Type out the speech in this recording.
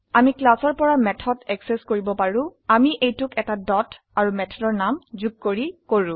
আমি ক্লাস পৰা method access কৰিব পাৰো আমি এইটোক এটা ডট আৰু মেথডৰ নাম যোগ কৰি কৰো